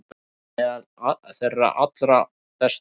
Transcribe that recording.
Hann er meðal þeirra allra bestu.